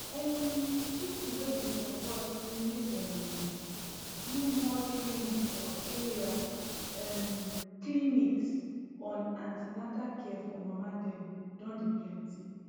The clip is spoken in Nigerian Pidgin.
um people wey dey support say make dem um do more training for area um clinics on an ten atal care for mama dem don dey plenty